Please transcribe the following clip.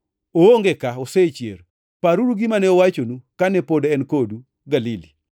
Oonge ka; osechier! Paruru gima ne owachonu, kane pod en kodu Galili: